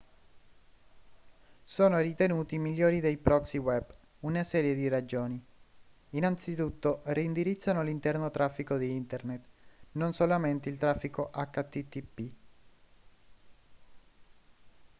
sono ritenuti migliori dei proxy web una serie di ragioni innanzitutto reindirizzano l'interno traffico di internet non solamente il traffico http